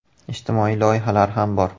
Ijtimoiy loyihalar ham bor.